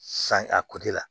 San a la